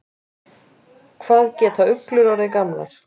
Hvað geta uglur orðið gamlar?